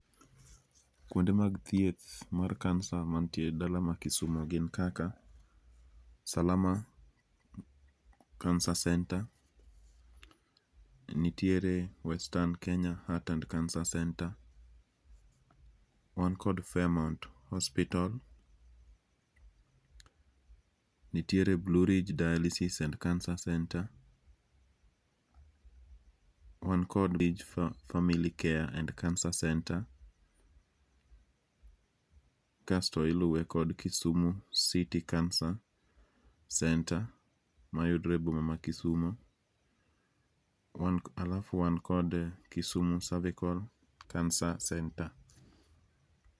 Kuonde mag thieth mar kansa ma nitie e dala mar kisumu gin kaka salama kansa centre, nitiere western kenya heart and cancer center wan kod faremount osiptal, nitiere Blue Ridge dialysis and cancer center wan kod Family care and cancer center kasto iluwe kod kisumu city cancer center ma yudore e boma mar Kisumu. Alafu wan kod kisumu cervical cancer center.